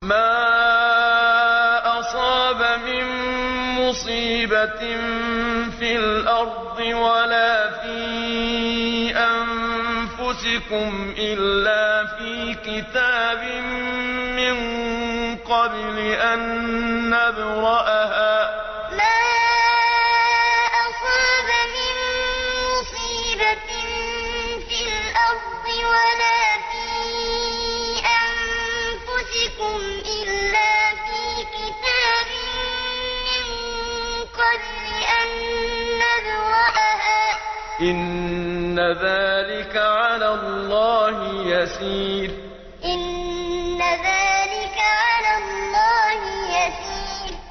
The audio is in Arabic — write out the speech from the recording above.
مَا أَصَابَ مِن مُّصِيبَةٍ فِي الْأَرْضِ وَلَا فِي أَنفُسِكُمْ إِلَّا فِي كِتَابٍ مِّن قَبْلِ أَن نَّبْرَأَهَا ۚ إِنَّ ذَٰلِكَ عَلَى اللَّهِ يَسِيرٌ مَا أَصَابَ مِن مُّصِيبَةٍ فِي الْأَرْضِ وَلَا فِي أَنفُسِكُمْ إِلَّا فِي كِتَابٍ مِّن قَبْلِ أَن نَّبْرَأَهَا ۚ إِنَّ ذَٰلِكَ عَلَى اللَّهِ يَسِيرٌ